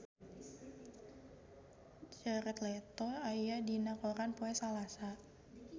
Jared Leto aya dina koran poe Salasa